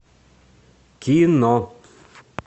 кино